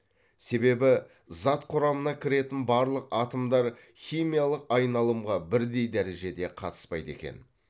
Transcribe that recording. себебі зат құрамына кіретін барлық атомдар химиялық айналымға бірдей дәрежеде қатыспайды екен